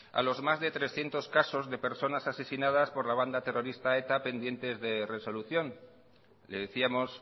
a los más de trescientos casos de personas asesinadas por la banda terrorista eta pendientes de resolución le decíamos